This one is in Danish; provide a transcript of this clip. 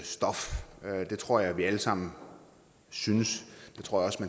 stof og det tror jeg vi alle sammen synes